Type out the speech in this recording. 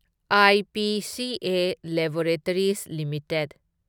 IPCA laboratories limited